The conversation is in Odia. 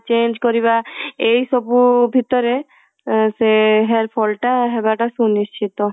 change କରିବା ଏଇ ସବୁ ଭିତରେ ସେ hair fall ଟା ହବା ଟା ସୁନିଶ୍ଚିନ୍ତ